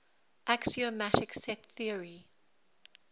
axiomatic set theory